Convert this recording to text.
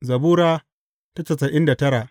Zabura Sura casa'in da tara